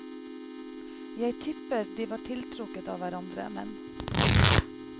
Jeg tipper de var tiltrukket av hverandre, men.